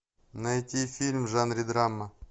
найди фильм в жанре драма